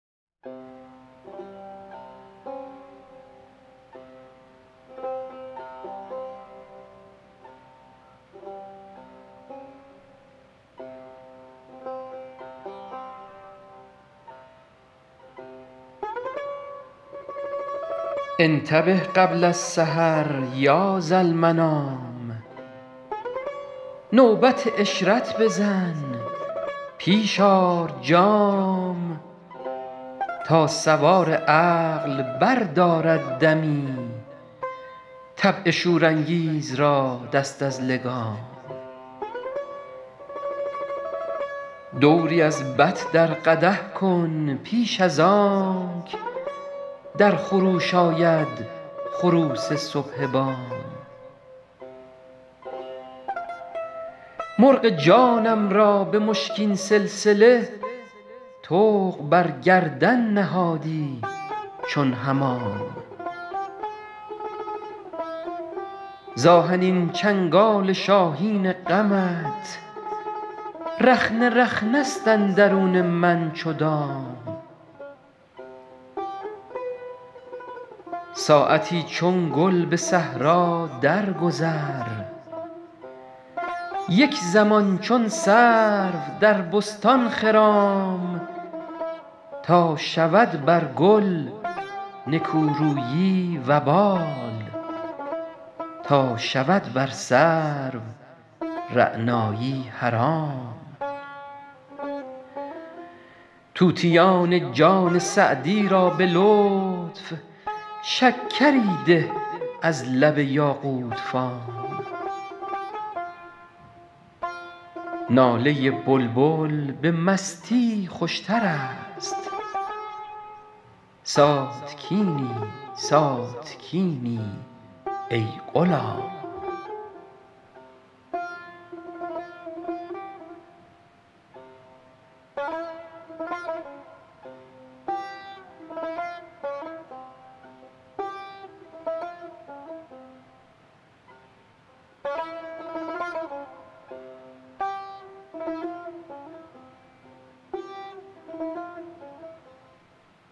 انتبه قبل السحر یا ذالمنام نوبت عشرت بزن پیش آر جام تا سوار عقل بردارد دمی طبع شورانگیز را دست از لگام دوری از بط در قدح کن پیش از آنک در خروش آید خروس صبح بام مرغ جانم را به مشکین سلسله طوق بر گردن نهادی چون حمام ز آهنین چنگال شاهین غمت رخنه رخنه ست اندرون من چو دام ساعتی چون گل به صحرا درگذر یک زمان چون سرو در بستان خرام تا شود بر گل نکورویی وبال تا شود بر سرو رعنایی حرام طوطیان جان سعدی را به لطف شکری ده از لب یاقوت فام ناله بلبل به مستی خوشتر است ساتکینی ساتکینی ای غلام